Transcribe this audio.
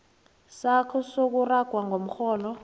sakho sokuragwa komrholo